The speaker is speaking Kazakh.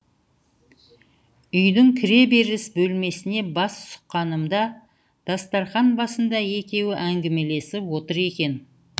үйдің кіреберіс бөлмесіне бас сұққанымда дастарқан басында екеуі әңгімелесіп отыр екен